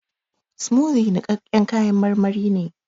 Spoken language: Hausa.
Smoothie nikaƙƙen kayan marmari ne